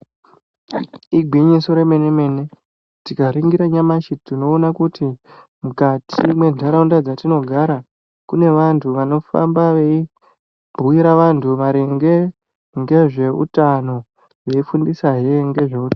Igwinyiso remenemene, tikaringira nyamashi tinoona kuti mukati mwe Ntaraunda dzatinogara kune vanthu vanofamba veyi bhuyira vanthu maringe ngezveutano veyi fundisa hee ngezveutano.